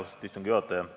Austatud istungi juhataja!